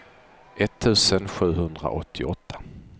etttusen sjuhundraåttioåtta